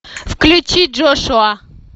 включи джошуа